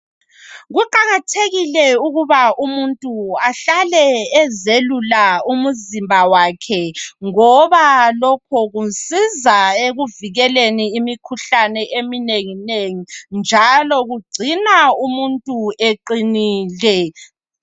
Kuqakathekile ukuba umuntu ahlale ezelula umzimba wakhe ngoba lokho kumsiza ekuvikeleni imikhuhlane eminengi nengi njalo kugcina umuntu eqinile.